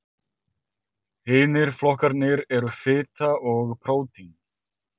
Hinir flokkarnir eru fita og prótín.